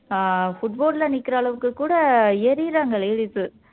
ஆஹ் footboard ல நிக்குற அளவுக்கு கூட ஏறிறாங்க ladies உ